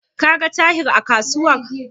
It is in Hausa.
Ka ga Tahir a kasuwar?